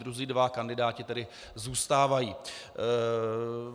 Druzí dva kandidáti tedy zůstávají.